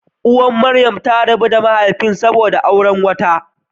Uwar Maryam ta rabu da mahaifinta saboda ya auri wata.